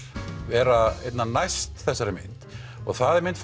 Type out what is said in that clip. vera einna næst þessari mynd og það er mynd